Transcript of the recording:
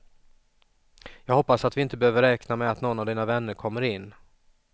Jag hoppas att vi inte behöver räkna med att någon av dina vänner kommer in.